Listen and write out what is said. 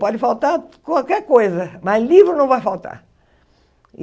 Pode faltar qualquer coisa, mas livro não vai faltar.